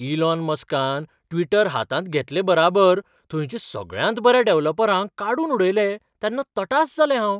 Elon मस्कान Twitter हातांत घेतले बराबर थंयच्या सगळ्यांत बऱ्या डॅव्हलपरांक काडून उडयले तेन्ना तटास जालें हांव.